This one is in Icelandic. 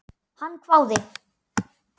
Hann hváði.